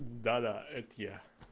да да это я